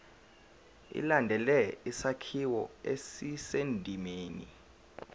ilandele isakhiwo esisendimeni